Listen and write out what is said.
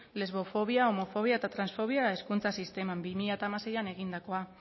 lesbofobia homofobia eta transfobia hezkuntza sisteman bi mila hamaseian egindakoa